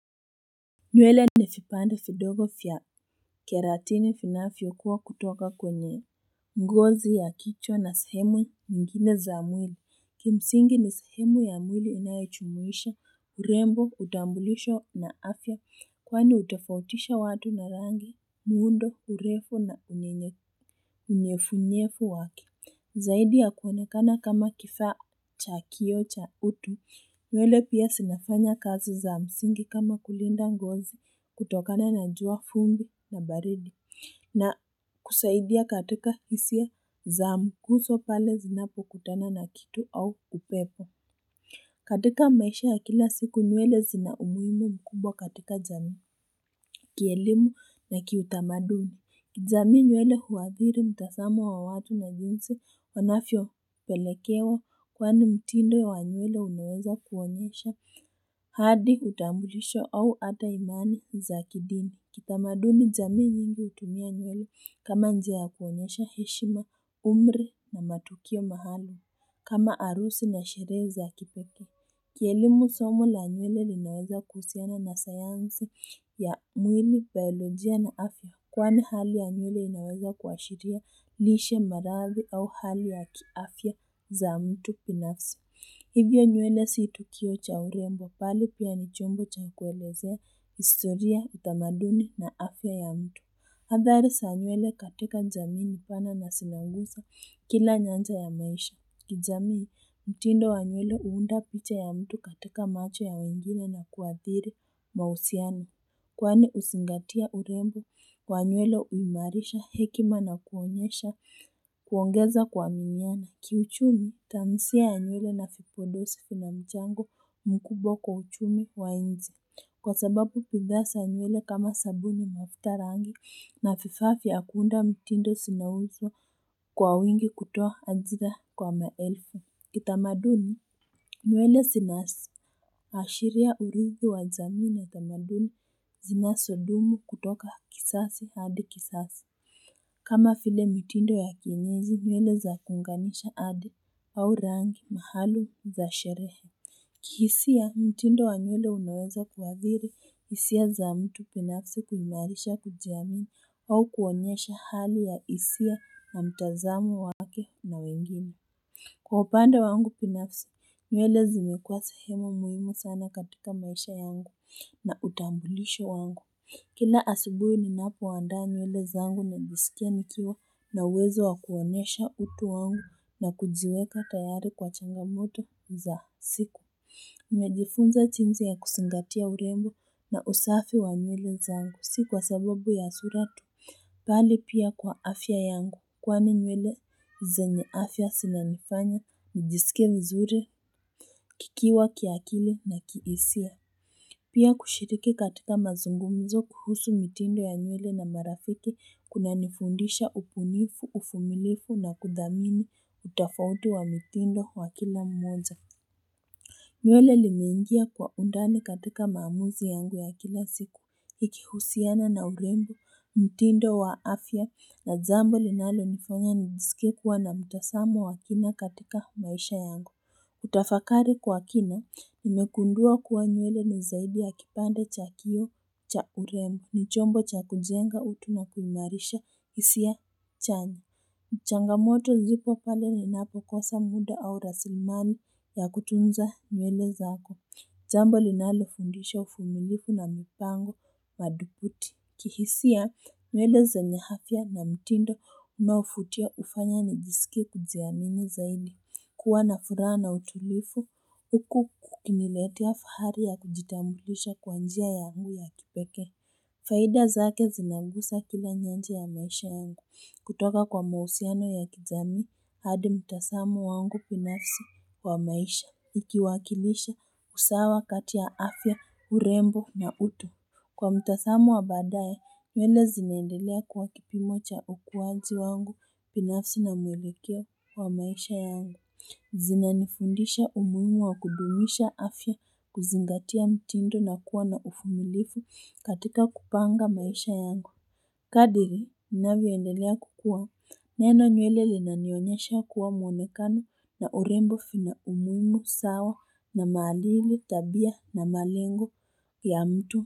Nywele ni vipande vidogo vya keratini vinavyo kuwa kutoka kwenye ngozi ya kichwa na sehemu nyingine za mwili Kimsingi ni sehemu ya mwili inayojumuisha urembo hutambulisha na afya kwani hutofautisha watu na rangi muundo urefu na unyenye unyevunyevu wake Zaidi ya kuonekana kama kifaa cha kioo cha utu nywele pia zinafanya kazi za msingi kama kulinda ngozi kutokana na jua vumbi na baridi na kusaidia katika hisia za mguso pale zinapokutana na kitu au upepo katika maisha ya kila siku nywele zina umuhimu mkubwa katika jamii Kielimu na kiutamaduni kijamii nywele huadhiri mtazamo wa watu na jinsi wanavyopelekewa kwani mtindo wa nywele unaweza kuonyesha hadi utambulisho au hata imani za kidini. Kitamaduni jamii nyingi hutumia nywele kama njia ya kuonyesha heshima umri na matukio mahali kama harusi na sherehe za kipekee. Kielimu somo la nywele linaweza kuhusiana na sayansi ya mwili, biolojia na afya Kwani hali ya nywele inaweza kuashiria lishe maradhi au hali ya kiafya za mtu binafsi Hivyo nywele si tukio cha urembo bali pia ni chombo cha kuelezea historia utamaduni na afya ya mtu Hadhari za nywele katika jamii ni pana na zinagusa kila nyanja ya maisha kijamii, mtindo wa nywele huunda picha ya mtu katika macho ya wengine na kuadhiri mahusiano. Kwani kuzingatia urembo wa nywele huimarisha hekima na kuonyesha kuongeza kuaminiana. Ki uchumi, tansia ya nywele na vipodozi vina mchango mkubwa kwa uchumi wa nchi. Kwa sababu bidhaa za nywele kama sabuni mafuta rangi na vifaa vya kuunda mtindo zinauzwa kwa wingi kutoa ajira kwa maelfu Kitamaduni nywele zina ashiri ya urithi wa jamii na utamaduni zinazodumu kutoka kizazi hadi kizazi kama vile mitindo ya kienyeji nywele za kungaamisha hadi au rangi mahali za sherehe kihisia, mtindo wa nywele unaweza kuwdhiri hisia za mtu binafsi kuimarisha kujiamini au kuonyesha hali ya hisia na mtazamo wake na wengine. Kwa upande wangu binafsi, nywele zimekuwa sehemu muhimu sana katika maisha yangu na utambulisho wangu. Kila asubuhi ninapoandaa nyewele zangu najisikia nikiwa na uwezo wakuonyesha utu wangu na kujiweka tayari kwa changamoto za siku. Nimejifunza jinsi ya kuzingatia urembo na usafi wa nywele zangu si kwa sababu ya sura tu bali pia kwa afya yangu kwani nywele zenye afya zinanifanya nijisikie vizuri kikiwa kiakili na kihisia Pia kushiriki katika mazungumzo kuhusu mitindo ya nywele na marafiki kunanifundisha ubunifu uvumilivu na kudhamini utofauti wa mitindo wa kila mmoja nywele limeingia kwa undani katika maamuzi yangu ya kila siku, ikihusiana na urembo, mtindo wa afya na jambo linalonifanya nijisikie kuwa na mtazamo wa kina katika maisha yangu. Utafakari kwa kina, nimegundua kuwa nywele ni zaidi ya kipande cha kioo cha urembo, ni chombo cha kujenga utu na kuimarisha hisia chanya. Changamoto zipo pale ninapokosa muda au raslimali ya kutunza nywele zako. Jambo linalofundisha uvumilivu na mipango madhubuti. Kihisia nywele zenye afya na mtindo unaovutia hufanya nijisikie kujiamini zaidi. Kuwa na furaha na utulivu. Huku kukiniletea fahari ya kujitambulisha kwa njia yangu ya kipekee. Faida zake zinaguza kila nyanja ya maisha yangu. Kutoka kwa mahusiano ya kijamii hadi mtazamo wangu binafsi wa maisha ikiwakilisha usawa kati ya afya urembo na utu Kwa mtazamo wa baadaye nywele zinaendelea kuwa kipimo cha ukuwazi wangu binafsi na mwelekeo wa maisha yangu Zinanifundisha umuhimu wa kudumisha afya kuzingatia mtindo na kuwa na uvumilivu katika kupanga maisha yangu kadri ninavyoendelea kukuwa neno nywele linanionyesha kuwa mwonekano na urembo vina umuhimu sawa na maadili tabia na malengo ya mtu.